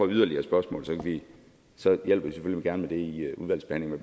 yderligere spørgsmål så hjælper vi selvfølgelig gerne med det i udvalgsbehandlingen